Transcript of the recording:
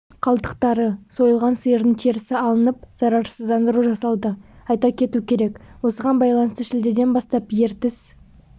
қалдықтары сойылған сиырдың терісі алынып зарарсыздандыру жасалды айта кету керек осыған байланысты шілдеден бастап ертіс